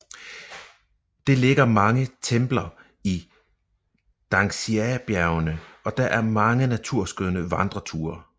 Det ligger mange templer i Dangxiabjergene og der er mange naturskønne vandreruter